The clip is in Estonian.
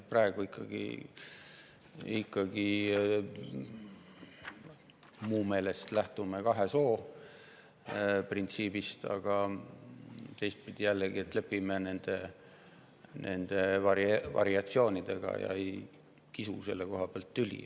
Me praegu ikkagi lähtume minu meelest kahe soo printsiibist, aga teistpidi jällegi lepime nende variatsioonidega ja ei kisu selle koha pealt tüli.